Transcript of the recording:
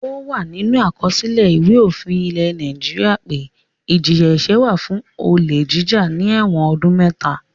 Ó wà nínú àkọsílẹ̀ Ìwé-òfin ilẹ̀ Nàìjíríà pé ìjìyà-ẹ̀ṣẹ̀ fún olè jíjà ni ẹ̀wọ̀n ọdún mẹ́ta.